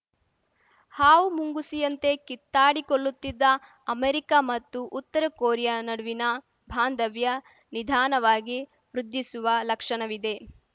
ಹಾವುಮುಂಗುಸಿಯಂತೆ ಕಿತ್ತಾಡಿಕೊಳ್ಳುತ್ತಿದ್ದ ಅಮೆರಿಕ ಮತ್ತು ಉತ್ತರ ಕೊರಿಯಾ ನಡುವಿನ ಬಾಂಧವ್ಯ ನಿಧಾನವಾಗಿ ವೃದ್ಧಿಸುವ ಲಕ್ಷಣವಿದೆ